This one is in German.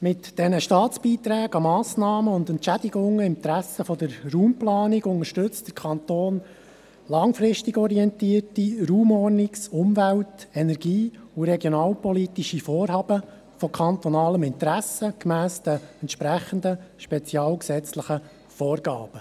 Mit diesen Staatsbeiträgen an Massnahmen und Entschädigungen im Interesse der Raumplanung unterstützt der Kanton langfristig orientierte raumordnungs-, umwelt-, energie- und regionalpolitische Vorhaben von kantonalem Interesse gemäss den entsprechenden spezialgesetzlichen Vorgaben.